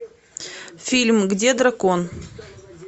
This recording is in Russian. фильм где дракон